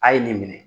A' ye nin minɛ